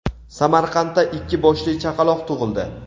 Samarqandda ikki boshli chaqaloq tug‘ildi.